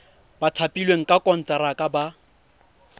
ba thapilweng ka konteraka ba